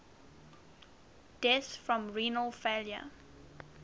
deaths from renal failure